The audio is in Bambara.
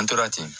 An tora ten